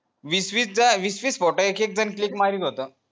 वीस वीस दा वीस वीस photo एक एक जण click मारीत होता